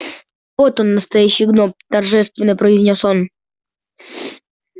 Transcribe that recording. вот он настоящий гном торжественно произнёс он